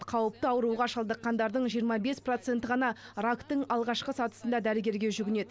қауіпті ауруға шалдыққандардың жиырма бес проценті ғана рактың алғашқы сатысында дәрігерге жүгінеді